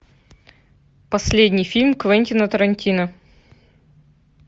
последний фильм квентина тарантино